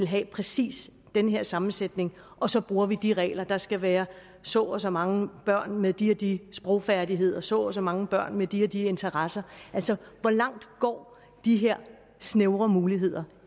have præcis den her sammensætning og så bruger vi de regler nemlig at der skal være så og så mange børn med de og de sprogfærdigheder så og så mange børn med de og de interesser altså hvor langt går de her snævre muligheder